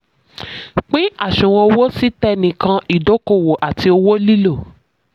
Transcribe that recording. pín àṣùwọ̀n owó sí: tẹnìkan ìdókòwò àti owó ìlò.